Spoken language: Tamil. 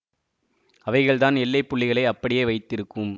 அவைகள் தான் எல்லை புள்ளிகளை அப்படியே வைத்திருக்கும்